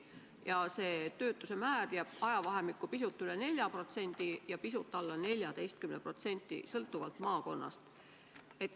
Ja see töötuse määr jääb vahemikku pisut üle 4% ja pisut alla 14%, sõltuvalt maakonnast.